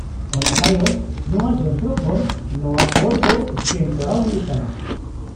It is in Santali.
-ᱚᱱᱟ ᱛᱟᱭᱚᱢ ᱱᱚᱶᱟ ᱡᱚᱱᱛᱨᱚ ᱠᱷᱚᱱ ᱱᱚᱶᱟ ᱠᱳᱰ ᱫᱚ ᱥᱠᱮᱱ ᱠᱚᱨᱟᱣ ᱦᱩᱭᱩᱜ ᱛᱟᱢᱟ ᱾